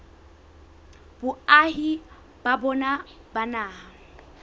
boahi ba bona ba naha